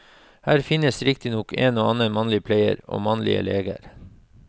Her finnes riktignok en og annen mannlig pleier, og mannlige leger.